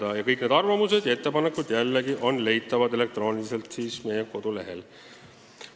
Jällegi, kõik need arvamused ja ettepanekud on leitavad meie kodulehelt.